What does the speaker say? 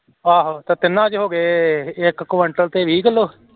ਆਹੋ ਤੇ ਤਿੰਨਾਂ ਚ ਹੋ ਗਏ ਇਕ ਕੁਇੰਟਲ ਤੇ ਵੀਹ ਕਿਲੋ